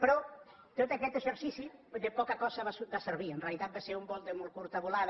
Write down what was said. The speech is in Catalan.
però tot aquest exercici de poca cosa va servir en rea·litat va ser un vol de molt curta volada